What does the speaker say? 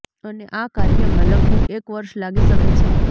અને આ કાર્યમાં લગભગ એક વર્ષ લાગી શકે છે